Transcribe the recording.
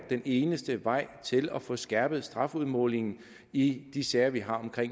den eneste vej til at få skærpet strafudmålingen i de sager vi har om